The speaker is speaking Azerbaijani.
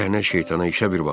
Lənət şeytana işə bir bax,